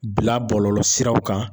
Bila bɔlɔlɔ siraw kan.